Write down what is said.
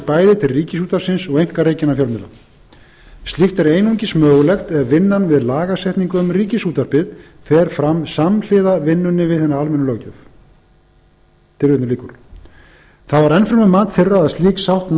bæði til ríkisútvarpsins og einkarekinna fjölmiðla slíkt er einungis mögulegt ef vinnan við lagasetningu um ríkisútvarpið fer fram samhliða vinnunni við hina almennu löggjöf það var enn fremur mat þeirra